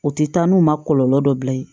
U tɛ taa n'u ma kɔlɔlɔ dɔ bil'i la